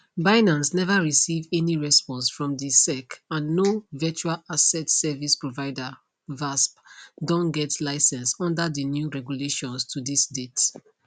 binance neva receive any response from di sec and no virtual asset service provider vasp don get license under di new regulations to dis date